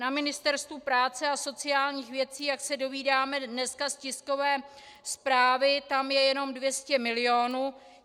Na Ministerstvu práce a sociálních věcí, jak se dozvídáme dneska z tiskové zprávy, tam je jenom 200 milionů.